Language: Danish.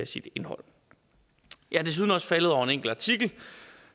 sit indhold jeg er desuden også faldet over en enkelt artikel